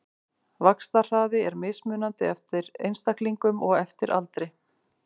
Vaxtarhraði er mismunandi eftir einstaklingum og eftir aldri.